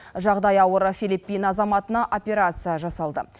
жағдайы ауыр филиппин азаматына операция жасалды